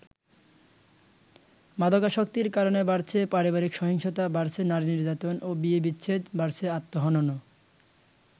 মাদকাসক্তির কারণে বাড়ছে পারিবারিক সহিংসতা, বাড়ছে নারী নির্যাতন ও বিয়ে বিচ্ছেদ, বাড়ছে আত্মহননও।